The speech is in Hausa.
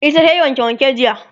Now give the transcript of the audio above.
ita tayi wanke wanke jiya